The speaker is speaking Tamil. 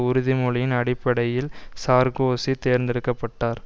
உறுதிமொழியின் அடிப்படையில் சார்க்கோசி தேர்ந்தெடுக்க பட்டார்